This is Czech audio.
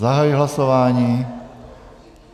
Zahajuji hlasování.